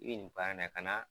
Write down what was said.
I bɛ nin baara in na kana